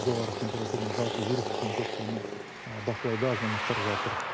жоғары температурамен жалпы вирустық инфекциямен бақылауда азаматтар жатыр